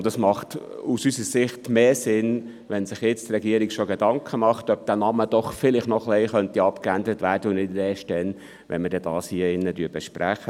Und es macht aus unserer Sicht mehr Sinn, wenn sich die Regierung jetzt schon Gedanken macht, ob dieser Name vielleicht doch noch ein bisschen abgeändert werden könnte, und nicht erst dann, wenn wir dies hier in diesem Saal besprechen.